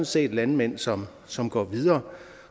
set landmænd som som går videre